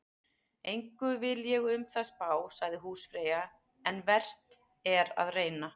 Engu vil ég um það spá, sagði húsfreyja, en vert er að reyna.